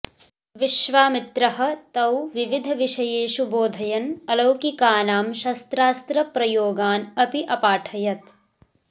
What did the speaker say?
विश्वामित्रः तौ विविधविषयेषु बोधयन् अलौकिकानां शस्त्रास्त्रप्रयोगान् अपि अपाठयत्